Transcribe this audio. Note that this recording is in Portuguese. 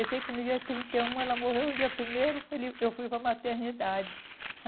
Eu sei que no dia trinta e um ela morreu, no dia primeiro ele eu fui para a maternidade.